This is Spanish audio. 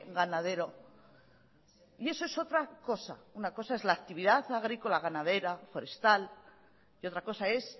ganadero y eso es otra cosa una cosa es la actividad agrícola ganadera forestal y otra cosa es